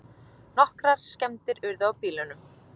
Nokkrar skemmdir urðu á bílunum